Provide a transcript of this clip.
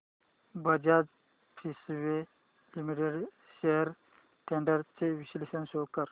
Bajaj Finserv Limited shares trends चे विश्लेषण show कर